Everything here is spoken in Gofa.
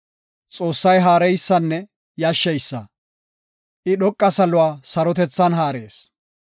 “Xoossay haareysanne yashsheysa; I dhoqa saluwa sarotethan haarees.